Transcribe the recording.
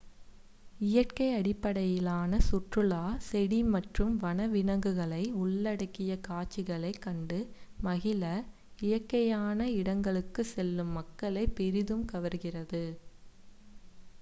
இயற்கை அடிப்படையிலான சுற்றுலா செடி மற்றும் வன விலங்குகளை உள்ளடக்கிய காட்சிகளைக் கண்டு மகிழ இயற்கையான இடங்களுக்குச் செல்லும் மக்களைப் பெரிதும் கவர்கிறது